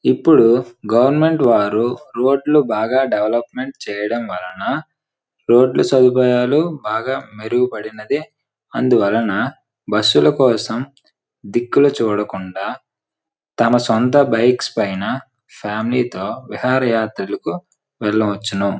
ఇప్పుడు గవర్నమెంట్ వారు రోడ్ లు బాగా డెవలప్మెంట్ చేయడం వలన రోడ్ లు సదుపాయాలు బాగా మెరుగుపడినది అందువలన బస్సుల కోసం దిక్కులు చూడకుండా తమ సొంత బైక్స్ పైన ఫ్యామిలీ తో విహారయాత్రలకు వెళ్ళవచ్చు.